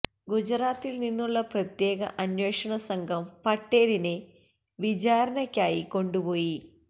ഗുജറാത്തിൽ നിന്നുള്ള പ്രത്യേക അന്വേഷണ സംഘം പട്ടേലിനെ വിചാരണക്കായി കൊണ്ടുപോയി